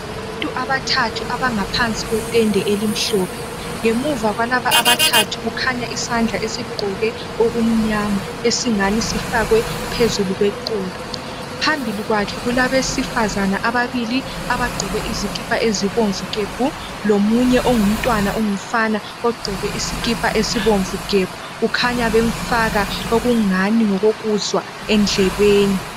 Abantu abathathu abangaphansi kwetende elimhlophe. Ngemuva kwalaba abathathu kukhanya isandla esigqoke okumnyama, esingani sifakwe phezulu kweqolo. Phambili kwakhe, kulabesifazana, ababili, abagqoke izikipa ezibomvu gebhu! Lomunye ongumntwana ongumfana. Ogqoke usikipa esibomvu gebhu! Kukhanya bemfaka okungani ngokokuzwa endlebeni.